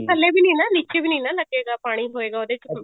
ਥੱਲੇ ਵੀ ਨੀ ਨਾ ਨੀਚੇ ਵੀ ਨੀ ਨਾ ਲੱਗੇ ਗਾ ਪਾਣੀ ਹੋਏਗਾ ਉਹਦੇ ਚ